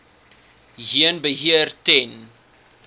heen beheer ten